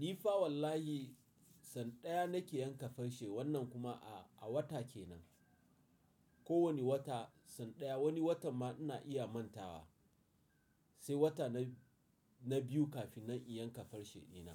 Ni fa wallahi san ɗaya na ke yanka farce wannan kuma a, a wata ke nan. Ko wani wata san ɗaya wani watan ma ina iya mantawa sai wata na, na biyu kafin na iya yanka farce ina.